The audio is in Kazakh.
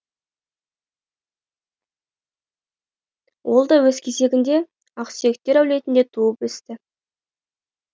ол да өз кезегінде ақсүйектер әулетінде туып өсті